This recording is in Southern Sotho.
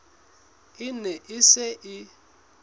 e ne e se e